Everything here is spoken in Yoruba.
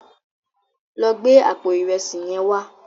Lò gbé àpó irèsí yèn wá